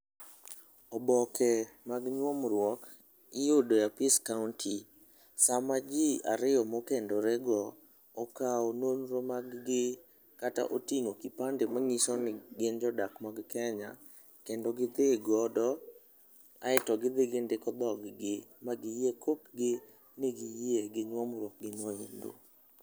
Oboke mag nyuomruok iyudo e apis kaonti. Sama ji ariyo mokendorego, okawo nonro maggi kata oting'o kipande mang'iso ni gin jodak mag kenya kendo gidhi godo, aeti gi dhi gindiko dhoggi, ma giyie, kok negi yie gi nyuomruok gino endo.